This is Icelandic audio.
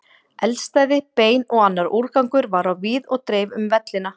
Eldstæði, bein og annar úrgangur var á víð og dreif um vellina.